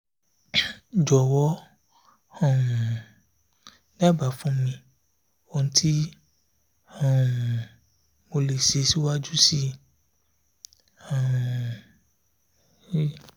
jọ̀wọ́ um dábàá fún mi ohun tí um mo lè ṣe síwájú sí um i